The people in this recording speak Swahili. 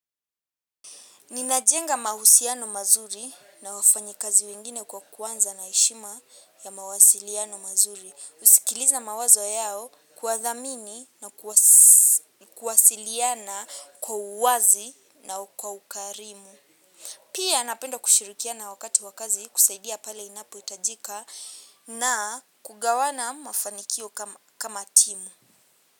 Ninajenga mahusiano mazuri na wafanyikazi wengine kwa kuanza na heshima ya mawasiliano mazuri. Husikiliza mawazo yao kuwadhamini na kuwasiliana kwa uwazi na kwa ukarimu. Pia napenda kushirikiana wakati wa kazi kusaidia pale inapohitajika na kugawana mafanikio kama timu.